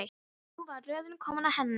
Nú var röðin komin að henni.